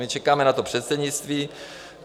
My čekáme na to předsednictví.